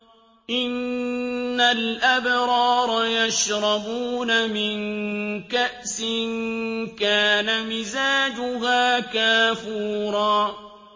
إِنَّ الْأَبْرَارَ يَشْرَبُونَ مِن كَأْسٍ كَانَ مِزَاجُهَا كَافُورًا